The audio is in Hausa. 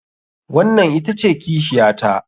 Wannan ita ce kishiyata.